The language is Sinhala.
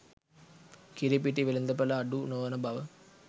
කිරිපිටි වෙළඳපළ අඩු නොවනබව